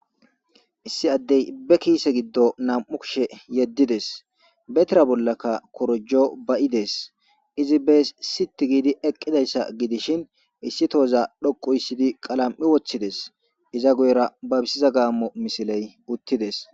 issi addey be kiise giddo nam7u kishe yeddides betira bollaka korjo ba7ides izi bees sit giidi eqqidayssa gidishin issi tooza dhoqu issidi qalam7i woththides iza goyra babisiza gaammo misiley uttides